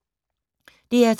DR2